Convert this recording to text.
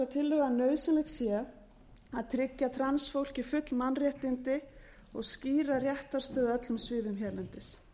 að nauðsynlegt sé að tryggja transfólki full mannréttindi og skýra réttarstöðu á öllum sviðum hérlendis